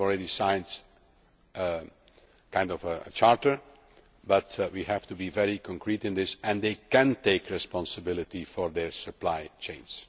They have already signed a kind of charter, but we have to be very concrete in this, and they can take responsibility for their supply chains.